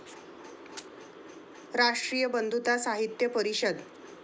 राष्ट्रीय बंधुता साहित्य परिषद